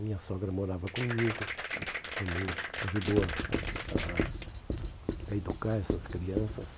Minha sogra morava comigo, também ajudou a a a a educar essas crianças.